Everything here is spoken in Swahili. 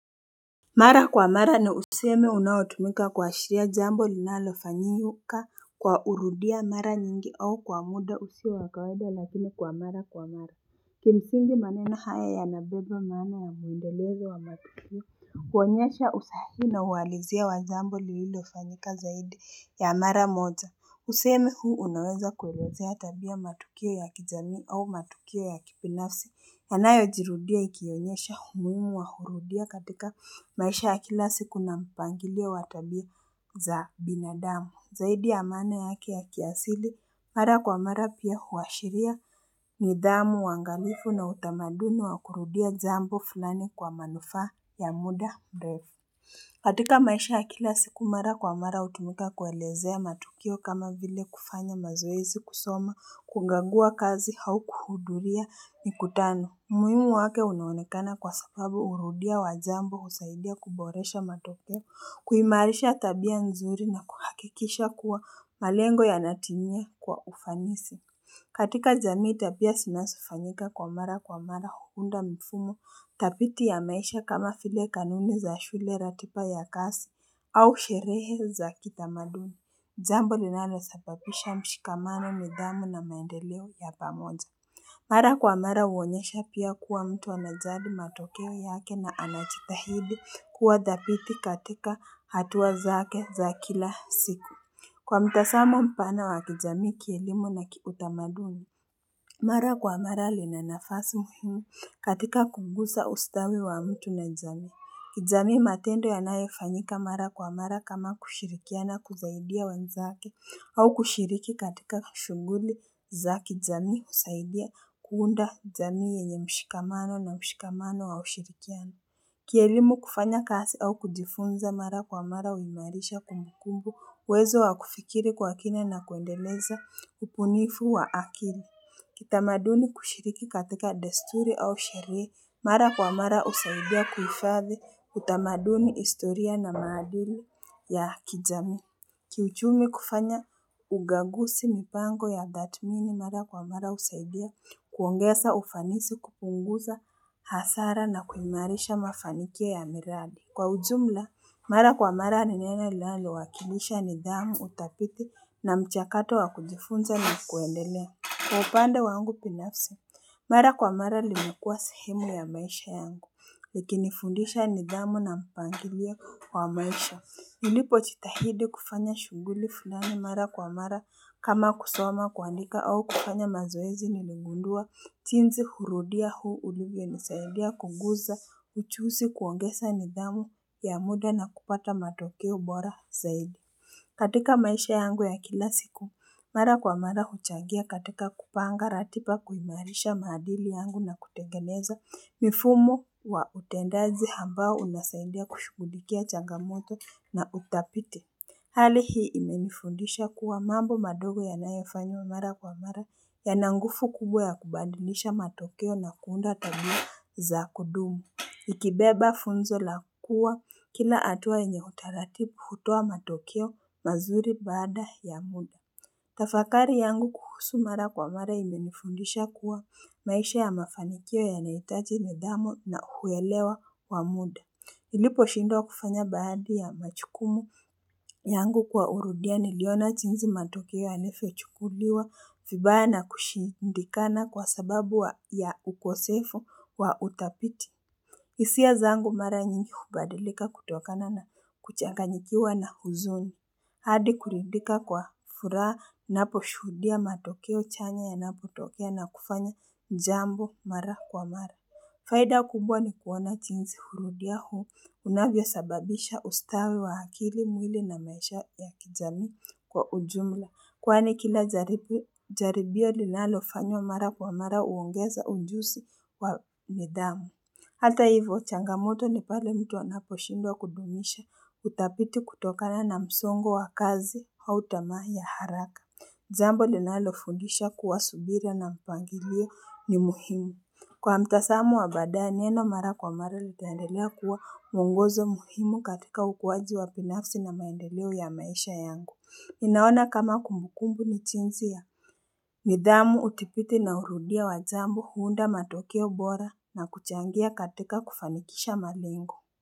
Mara kwa mara nina usemi unaotumika kuashiria jambo linalofanyika kwa urudia mara nyingi au kwa muda usio wa kawaida lakini kwa mara kwa mara. Kimsingi maneno haya yanabeba maana ya muendelezo wa matukio huonyesha usahili na uhalizia wa jambo lililofanyika zaidi ya mara moja Usemi huu unaweza kuelezea tabia, matukio ya kijamii au matukio ya kibinafsi yanayo jirudia ikionyesha umuhimu wa hurudia katika maisha ya kila siku na mpangilio wa tabia za binadamu. Zaidi ya maana yake ya kiasili, mara kwa mara pia huashiria nidhamu uangalifu na utamaduni wa kurudia jambo fulani kwa manufaa ya muda mrefu. Katika maisha ya kila siku mara kwa mara hutumika kuelezea matukio kama vile kufanya mazoezi kusoma kukagua kazi au kuhudhuria mikutano. Umuhimu wake unaonekana kwa sababu urudia wa jambo husaidia kuboresha matokeo kuimarisha tabia nzuri na kuhakikisha kuwa malengo yanatimia kwa ufanisi katika jamii tabia zinazofanyika kwa mara kwa mara huunda mfumo dhabiti ya maisha kama vile kanuni za shule, ratiba ya kazi au sherehe za kitamaduni. Jambo linalosabapisha mshikamano nidhamu na maendeleo ya pamoja. Mara kwa mara huonyesha pia kuwa mtu anajali matokeo yake na anajitahidi kuwa dhabiti katika hatua zake za kila siku. Kwa mtazamo mpana wa kijamii, kielimu na kiutamaduni Mara kwa mara lina nafasi muhimu katika kugusa ustawi wa mtu na jamii. Kijamii matendo yanayofanyika mara kwa mara kama kushirikiana kusaidia wenzake au kushiriki katika shughuli za kijamii kusaidia kuunda jamii yenye mshikamano na mshikamano wa ushirikiano Kielimu kufanya kazi au kujifunza mara kwa mara huimarisha kumbukumbu, uwezo wa kufikiri kwa kina na kuendeleza ubunifu wa akili. Kitamaduni kushiriki katika desturi au sherehe mara kwa mara husaidia kuhifadhi utamaduni, historia na maadili ya kijamii. Ki uchumi kufanya ukagusi mipango ya tathmini mara kwa mara husaidia kuongeza ufanisi kupunguza hasara na kuimarisha mafanikio ya miradi. Kwa ujumla, mara kwa mara ni neno linalowakilisha nidhamu, udhabiti na mchakato wa kujifunza na kuendelea. Kwa upande wangu binafsi, mara kwa mara limekua sehemu ya maisha yangu, ikinifundisha nidhamu na mpangilio wa maisha. Nilipojitahidi kufanya shughuli fulani mara kwa mara kama kusoma, kuandika au kufanya mazoezi nilingundua, jinzi hurudia huu ulivyonisaidia kuguza ujuzi kuongeza nidhamu ya muda na kupata matokeo bora zaidi. Katika maisha yangu ya kila siku, mara kwa mara huchangia katika kupanga ratiba kuimarisha maadili yangu na kutengeneza mifumo wa utendaji ambao unasaidia kushughulikia changamoto na udhabiti Hali hii imenifundisha kuwa mambo madogo yanayofanywa mara kwa mara yana nguvu kubwa ya kubadilisha matokeo na kuunda tabia za kudumu Ikibeba funzo la kuwa kila hatua yenye utaratibu hutoa matokeo mazuri baada ya muda Tafakari yangu kuhusu mara kwa mara imenifundisha kuwa maisha ya mafanikio yanahitaji nidhamu na kuyaelewa kwa muda niliposhindwa kufanya baadhi ya majukumu yangu kwa urudia niliona jinsi matokeo yanavyochukuliwa vibaya na kushindikana kwa sababu ya ukosefu wa udhabiti hisia zangu mara nyingi hubadilika kutokana na kuchanganyikiwa na huzuni. Hadi kuridhika kwa furaha ninaposhuhudia matokeo chanya yanapotokea na kufanya jambo mara kwa mara. Faida kubwa ni kuona jinsi hurudia huu, unavyo sababisha ustawi wa akili, mwili na maisha ya kijamii kwa ujumla. Kwani kila jaribio linalofanywa mara kwa mara huongeza ujuzi wa nidhamu. Hata hivyo changamoto ni pale mtu anaposhindwa kudumisha udhabiti kutokana na msongo wa kazi au tamaa ya haraka jambo linalofundisha kuwa subira na mpangilio ni muhimu. Kwa mtazamo wa baadaye neno mara kwa mara litaendelea kuwa mwongozo muhimu katika ukuaji wa binafsi na maendeleo ya maisha yangu. Ninaona kama kumbukumbu ni jinsi ya nidhamu udhibiti na urudia wa jambo huunda matokeo bora na kuchangia katika kufanikisha malengo.